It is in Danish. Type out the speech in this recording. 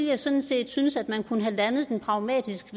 jeg sådan set synes at man kunne have landet den pragmatisk